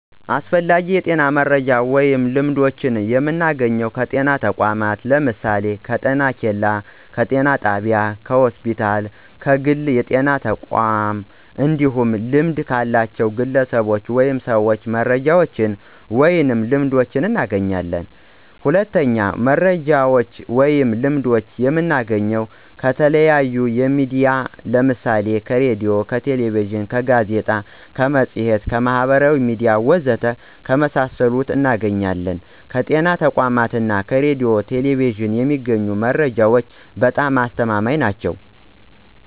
አስፈላጊ የጤና መረጃዎችን ወይም ልምዶችን የምናገኘው ከጤና ተቋማት ለምሳሌ፦ ከጤኬላ፣ ከጤና ጣቢያ፣ ከሆስፒታል እና ከግል የጤና ተቋማት እንዲሁም ልምድ ካላቸው ግለሰቦች ወይም ሰዎች መረጃዎችን ወይንም ልምዶችን እናገኛለን። ሁለተኛው መረጃዎችን ወይም ልምዶችን የምናገኘው ከተለያዩ ሚዲያዎች ለምሳሌ ከሬዲዮ፣ ከቴሌቪዥን፣ ከጋዜጣ፣ ከመፅሔት፣ ከማህበራዊ ሚዲያ ወዘተ ከመሳሰሉት እናገኛለን። ከጤና ተቋማት እና ከሬዲዮ ና ቴሌቪዥን የሚገኙ መረጃዎች በጣም አስተማማኝ ናቸው።